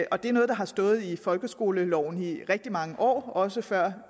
og det er noget der har stået i folkeskoleloven i rigtig mange år også før